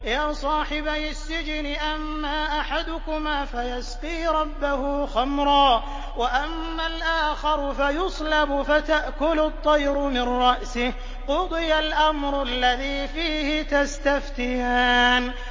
يَا صَاحِبَيِ السِّجْنِ أَمَّا أَحَدُكُمَا فَيَسْقِي رَبَّهُ خَمْرًا ۖ وَأَمَّا الْآخَرُ فَيُصْلَبُ فَتَأْكُلُ الطَّيْرُ مِن رَّأْسِهِ ۚ قُضِيَ الْأَمْرُ الَّذِي فِيهِ تَسْتَفْتِيَانِ